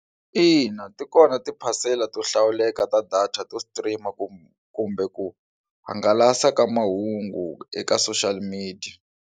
Ina, ti kona tiphasela to hlawuleka ta data to stream kumbe ku hangalasa ka mahungu eka social media.